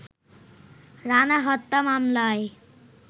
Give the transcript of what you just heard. রানা হত্যা মামলায়